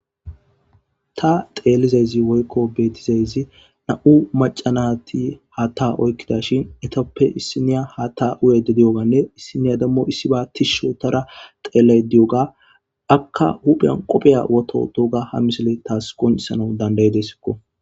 Ta xeelizayzi woykko beetizayzi na'u macanati haa ta oykkida shin etoppe issiniya haa ta uyede di'oganne issiniya dammo issiba tishshotara xeellay di'oga akka hupheyan qopheya woto dooga ha misile taas qoncisana dandayedessikko.